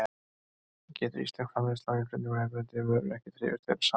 En getur íslensk framleiðsla og innflutningur á erlendri vöru ekki þrifist vel saman?